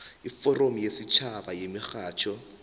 iforamu yesitjhaba yemirhatjho